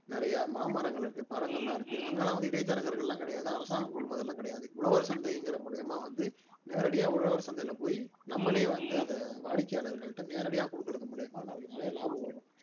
நிறைய மாமரங்கள் இருக்கு பழங்கள் எல்லாம் இருக்கு அங்கெல்லாம் வந்து இடைத்தரகர்கள் எல்லாம் கிடையாது அரசாங்கம் கொள்முதல் எல்லாம் கிடையாது உழவர் சந்தைங்கிற மூலியமா வந்து நேரடியா உழவர் சந்தையில போயி நம்மளே வந்து அதை வாடிக்கையாளர்கள்கிட்ட நேரடியா கொடுக்கிறது மூலியமா நமக்கு நிறைய லாபம் வரும்